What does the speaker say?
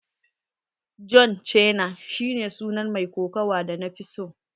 John Cena shi ne sunan mai kokawa da nafi so.